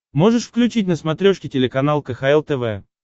можешь включить на смотрешке телеканал кхл тв